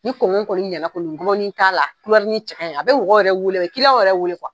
Ni kɔni ɲɛna kɔni gɔbɔɔni t'a la, cɛ kaɲi, a bi mɔgɔ yɛrɛ weele yɛrɛ weele